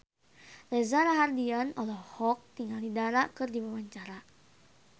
Reza Rahardian olohok ningali Dara keur diwawancara